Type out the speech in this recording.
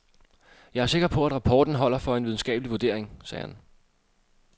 Jeg er sikker på, at rapporten holder for en videnskabelig vurdering, sagde han.